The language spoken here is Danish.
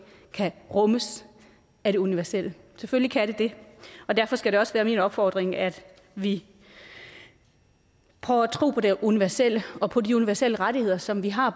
kan rummes af det universelle selvfølgelig kan de det og derfor skal det også være min opfordring at vi prøver at tro på det universelle og på de universelle rettigheder som vi har